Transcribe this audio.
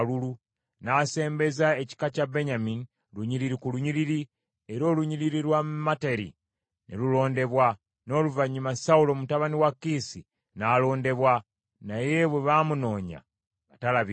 N’asembeza ekika kya Benyamini, lunyiriri ku lunyiriri, era olunyiriri lwa Materi ne lulondebwa. N’oluvannyuma Sawulo mutabani wa Kiisi n’alondebwa, naye bwe baamunoonya, nga talabika.